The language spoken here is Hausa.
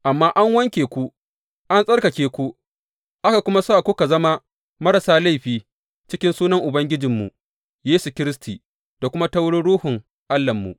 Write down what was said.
Amma an wanke ku, an tsarkake ku, aka kuma sa kuka zama marasa laifi cikin sunan Ubangijinmu Yesu Kiristi da kuma ta wurin Ruhun Allahnmu.